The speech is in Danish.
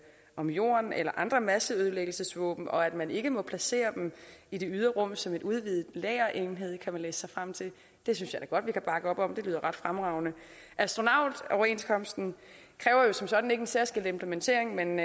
om jorden eller andre masseødelæggelsesvåben og at man ikke må placere dem i det ydre rum som en udvidet lagerenhed kan man læse sig frem til det synes jeg da godt vi kan bakke op om det lyder ret fremragende astronautoverenskomsten kræver som sådan ikke en særskilt implementering men